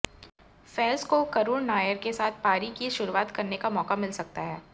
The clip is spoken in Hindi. फैज को करुण नायर के साथ पारी की शुरुआत करने का मौका मिल सकता है